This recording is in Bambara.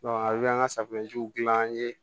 a bɛ an ka safunɛjiw dilan an ye